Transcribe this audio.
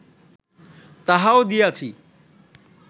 তাহাও দিয়াছি